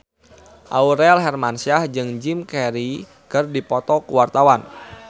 Aurel Hermansyah jeung Jim Carey keur dipoto ku wartawan